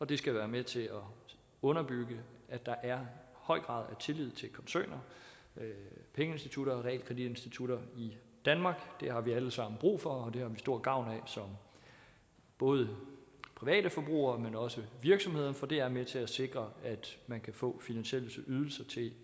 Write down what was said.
det skal være med til at underbygge at der er en høj grad af tillid til koncerner pengeinstitutter og realkreditinstitutter i danmark det har vi alle sammen brug for og det har vi stor gavn af både private forbrugere men også virksomheder for det er med til at sikre at man kan få finansielle ydelser til